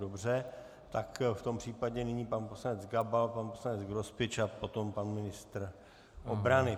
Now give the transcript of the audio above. Dobře, tak v tom případě nyní pan poslanec Gabal, pan poslanec Grospič a potom pan ministr obrany.